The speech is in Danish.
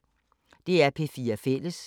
DR P4 Fælles